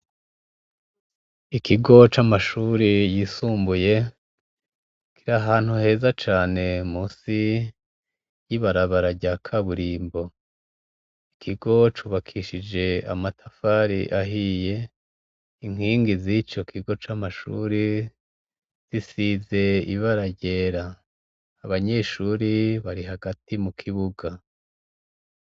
Ikigo c'amashuri yisumbuye, kirahantu heza cane musi y'ibarabararya ka burimbo, ikigo cubakishije amatafari ahiye, inkingi z'ico kigo c'amashuri zisize ibara gera , abanyeshuri bari hagati mu kibuga.